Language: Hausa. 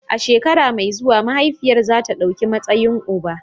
A shekara mai zuwa, mahaifiyar za ta ɗauki matsayin uba.